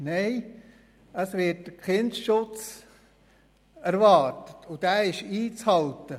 Nein, es wird Kindesschutz erwartet, und dieser ist einzuhalten.